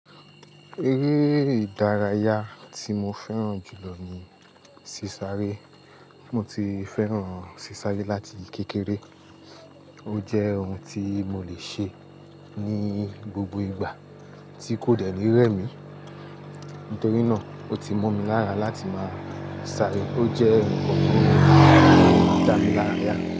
Ere idaraya ti mo fẹran julo ni sisare. Mo ti fẹran sisare lati kekere. O jẹ ohun ti mo le ṣe ni gbogbo igba ti ko de ni remi. Nitori naa, o ti mo mi lara lati ma sare. O jẹ nkan ti o n ja mi lara.